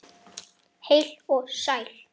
Heil og sæl!